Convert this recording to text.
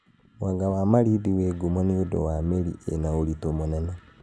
Mwanga wa Malindi wĩ ngumo nĩ ũndũ wa mĩri ina ũritũ mũnene